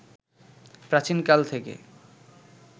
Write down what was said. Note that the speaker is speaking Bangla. প্রাচীন কাল থেকে